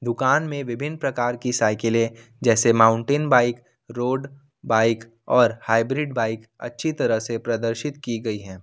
दुकान में विभिन्न प्रकार की साइकिले जैसे माउंटेन बाइक रोड बाइक और हाइब्रिड बाइक अच्छी तरह से प्रदर्शित की गई है।